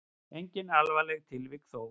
Engin alvarleg tilvik þó.